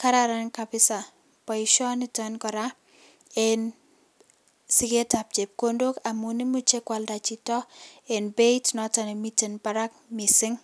kararan kabisa boisioniton en siketab chepkondok amun imuche kwalda chito en beit noton nemiten barak missing'.